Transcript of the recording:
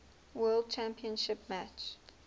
world championship match